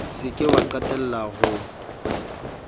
se ke wa qalella ho